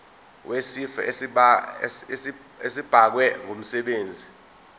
wesifo esibagwe ngumsebenzi